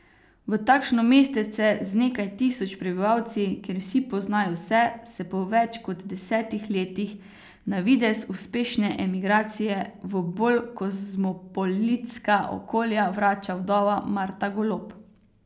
V takšno mestece z nekaj tisoč prebivalci, kjer vsi poznajo vse, se po več kot desetih letih na videz uspešne emigracije v bolj kozmopolitska okolja vrača vdova Marta Golob.